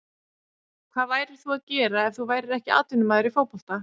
Hvað værir þú að gera ef þú værir ekki atvinnumaður í fótbolta?